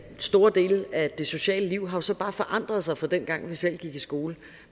store dele af det sociale liv har jo så bare forandret sig fra dengang vi selv gik i skole